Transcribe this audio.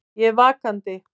Ég er vakandi.